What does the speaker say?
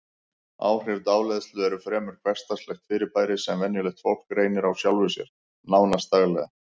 Áhrif dáleiðslu eru fremur hversdagslegt fyrirbæri sem venjulegt fólk reynir á sjálfu sér, nánast daglega.